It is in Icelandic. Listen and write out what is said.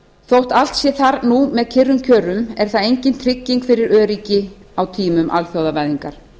þótt allt sé þar nú með kyrrum kjörum er það engin trygging fyrir öryggi á tímum alþjóðavæðingar